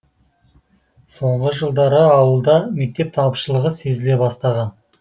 соңғы жылдары ауылда мектеп тапшылығы сезіле бастаған